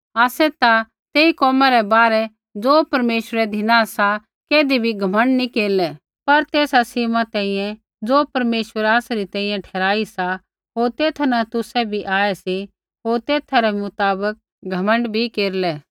आसै ता तेई कोमा रै बाहरै ज़ो परमेश्वरै धिना सा कैधी भी घमण्ड नी केरलै पर तेसा सीमा तैंईंयैं ज़ो परमेश्वरै आसरी तैंईंयैं ठहराई सा होर तेथा न तुसै भी आऐ सी होर तेथा रै मुताबक घमण्ड भी केरलै